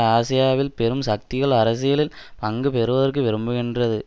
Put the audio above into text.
ஆசியாவில் பெரும் சக்திகள் அரசியலில் பங்கு பெறுவதற்கு விரும்புகிறன்து